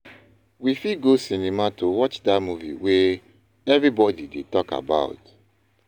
We fit go cinema to watch that movie wey everybody dey talk about.